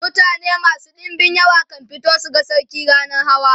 mutane masu ɗinbin yawa kan fito su ga sarki rannan hawa